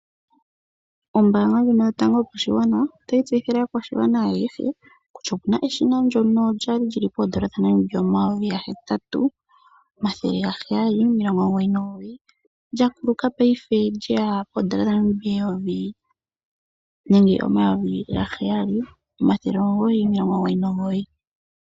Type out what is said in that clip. Ombanga ndjino yopashigwana otayi tseyithile aakwashigwana ayehe kutya opu na eshina ndyono lyali lyili poondola dhaNamibia omayovi ga hetatu omathele ga heyali nomilongo omugoyi nomugoyi lya kuluka paife lye ya poondola dhaNamibia omayovi ga heyali omathele omugoyi nomilongo omugoyi nomugoyi.